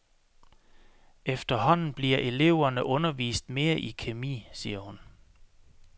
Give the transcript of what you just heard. Efterhånden bliver eleverne undervist mere i kemi, siger hun.